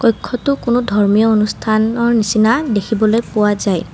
কক্ষ্যতো কোনো ধৰ্মীয় অনুষ্ঠানৰ নিচিনা দেখিবলৈ পোৱা যায়।